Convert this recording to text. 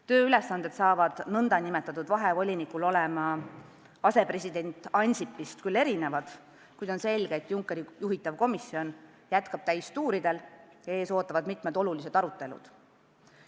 Tööülesanded saavad nn vahevolinikul olema küll teised kui asepresident Ansipil, kuid on selge, et Junckeri juhitav komisjon jätkab täistuuridel ja ees ootavad mitmed olulised arutelud.